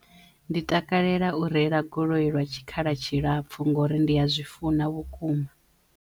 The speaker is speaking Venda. Ndi takalela u reila goloi lwa tshikhala tshilapfu ngori ndi ya zwi funa vhukuma.